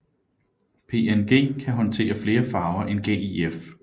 PNG kan håndtere flere farver end GIF